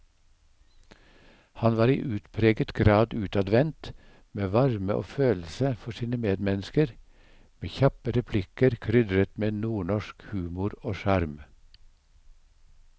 Han var i utpreget grad utadvendt, med varme og følelse for sine medmennesker, med kjappe replikker krydret med nordnorsk humor og sjarm.